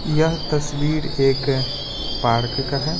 यह तस्वीर एक पार्क का है।